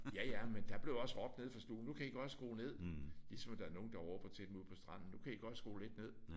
Ja ja men der blev også råbt nede fra stuen nu kan I godt skrue ned. Ligesom der er nogen der råber til dem ude på stranden nu kan I godt skrue ned